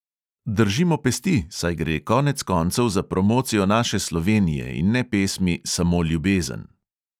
Držimo pesti, saj gre konec koncev za promocijo naše slovenije in ne pesmi samo ljubezen.